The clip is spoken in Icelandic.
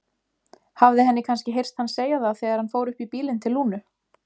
Hafði henni kannski heyrst hann segja það þegar hann fór upp í bílinn til Lúnu?